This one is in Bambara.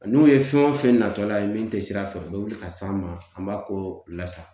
N'u ye fɛn wo fɛn natɔla ye, min te sira fɛ, u be wuli ka s'an ma an b'a ko lasa.